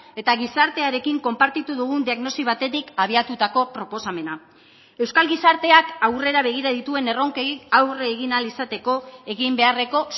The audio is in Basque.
eta gizartearekin konpartitu dugun diagnosi batetik abiatutako proposamena euskal gizarteak aurrera begira dituen erronkei aurre egin ahal izateko egin beharreko